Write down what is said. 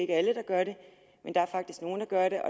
er alle der gør det der er faktisk nogle der gør det